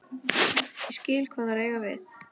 Ég skil hvað þeir eiga við.